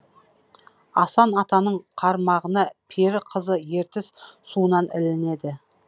асан атаның қармағына пері қызы ертіс суынан ілінеді